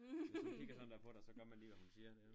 Hvis hun kigger sådan der på dig så gør man lige hvad hun siger